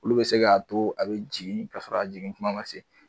Olu be se ka to a be jigin ka sɔrɔ jigin kuma ma se.